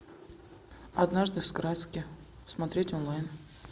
однажды в сказке смотреть онлайн